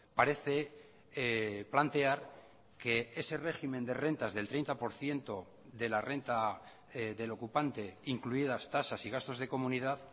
parece plantear que ese régimen de rentas del treinta por ciento de la renta del ocupante incluidas tasas y gastos de comunidad